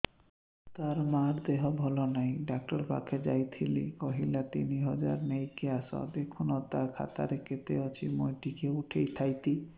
ତାର ମାର ଦେହେ ଭଲ ନାଇଁ ଡାକ୍ତର ପଖକେ ଯାଈଥିନି କହିଲା ତିନ ହଜାର ନେଇକି ଆସ ଦେଖୁନ ନା ଖାତାରେ କେତେ ଅଛି ମୁଇଁ ଟିକେ ଉଠେଇ ଥାଇତି